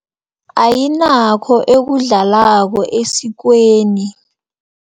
Ayinakho ekudlalako esikweni.